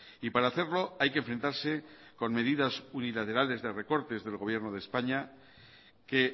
y para hacerlo hay que enfrentarse con medidas unilaterales de recortes del gobierno de españa que